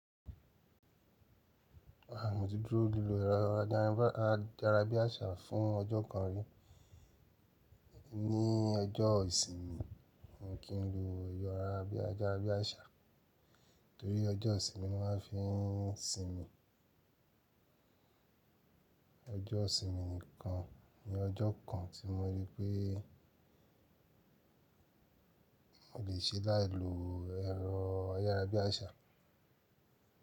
A titún lo ẹ̀rọ ayárabíàṣá fún ọjọ́ kan rí. Ní ọjọ́ ìsinmi, kí n lo ẹ̀rọ ayárabíàṣá torí ọjọ́ ìsinmi wá fiń sinmi. Ọjọ́ ìsinmi nìkan ni ọjọ́ kan tí mo rí pé mo le ṣe láì lo ẹ̀rọ ayárabíàṣá.